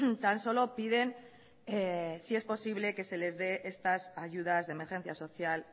tan solo piden si es posible que se les de estas ayudas de emergencia social